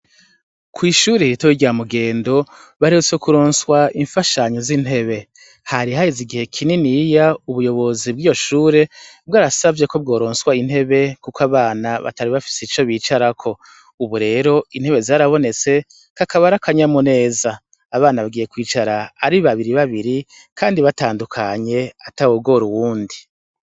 Kw'ishure iritawo rya mugendo baretse kuronswa imfashanyo z'intebe harihahezi igihe kinin iya ubuyobozi bw'iyoshure bwo arasavye ko bworonswa intebe, kuko abana batari bafise ico bicarako, ubu rero intebe zarabonetse kakabarakanya mu neza abana bagiye kwicara ari babiri babi, kandi batandukanye atawugora uwundi.